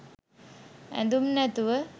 ඇඳුම් නැතුව.